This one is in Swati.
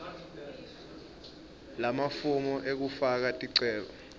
lamafomu ekufaka ticelo